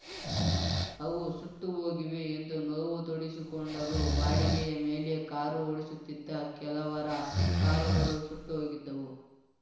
ಅವು ಸುಟ್ಟು ಹೋಗಿವೆ ಎಂದು ನೋವು ತೋಡಿಸಿಕೊಂಡರು ಬಾಡಿಗೆಯ ಮೇಲೆ ಕಾರು ಓಡಿಸುತ್ತಿದ್ದ ಕೆಲವರ ಕಾರುಗಳು ಸುಟ್ಟುಹೋಗಿದ್ದವು